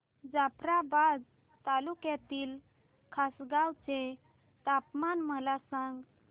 जाफ्राबाद तालुक्यातील खासगांव चे तापमान मला सांग